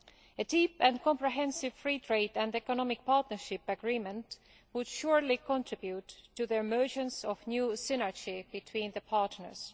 A deep and comprehensive Free Trade and Economic Partnership Agreement would surely contribute to the emergence of new synergy between the partners.